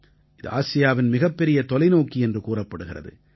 இது ஆசியாவின் மிகப்பெரிய தொலைநோக்கி என்று கூறப்படுகிறது